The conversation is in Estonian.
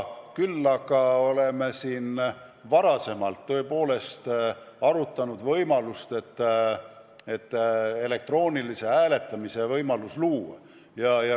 Küll aga oleme tõepoolest arutanud võimalust, et võiks elektroonilise hääletamise süsteemi luua.